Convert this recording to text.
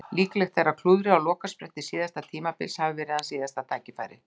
Líklegt er að klúðrið á lokaspretti síðasta tímabils hafi verið hans síðasta tækifæri.